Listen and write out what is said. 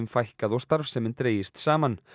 fækkað og starfsemin dregist saman